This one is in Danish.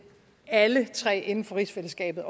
alle tre inden for rigsfællesskabet